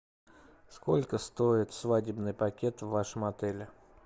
сколько стоит свадебный пакет в вашем отеле